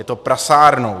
Je to prasárna.